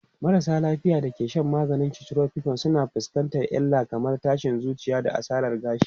Marasa lafiya da ke shan maganin chemotherapy sukan fuskanci illa kamar tashin zuciya da asarar gashi.